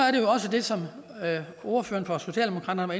det som ordføreren for socialdemokraterne